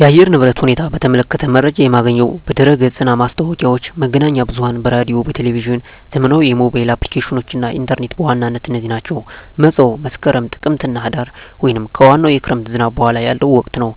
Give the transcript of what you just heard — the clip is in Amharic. የአየር ንብረት ሁኔታን በተመለከተ መረጃ የማገኘው በድረ-ገጽ እና ማስታወቂያዎች፣ መገናኛ ብዙኃን በራዲዮ፣ በቴሊቭዥን፣ ዘመናዊ የሞባይል አፕሊኬሽኖች እና ኢንተርኔት በዋናነት እነዚህ ናቸው። መፀው መስከረም፣ ጥቅምትና ህዳር) ወይም ከዋናው የክረምት ዝናብ በኋላ ያለው ወቅት ነው።